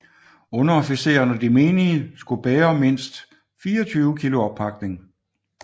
Underofficeren og de menige skulle bære mindst 24 kg oppakning